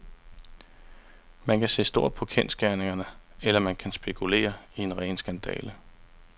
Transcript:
Man kan se stort på kendsgerningerne, eller man kan spekulere i ren skandale.